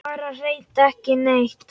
Bara hreint ekki neitt.